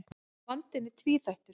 Vandinn er tvíþættur.